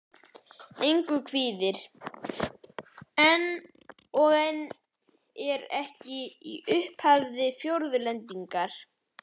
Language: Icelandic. Engu kvíðir. og en er ekki í upphafi fjórðu hendingar.